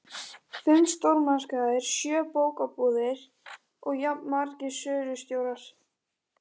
Fimm stórmarkaðir, sjö bókabúðir og jafnmargir sölustjórar.